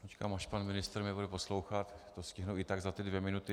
Počkám, až pan ministr mě bude poslouchat, to stihnu i tak za ty dvě minuty.